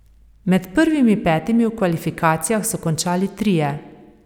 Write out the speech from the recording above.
Med prvimi petimi v kvalifikacijah so končali trije.